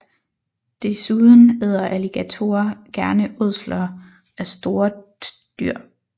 Desuden æder alligatorer gerne ådsler af større dyr